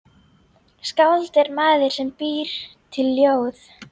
Skáld er maður sem býr til ljóð.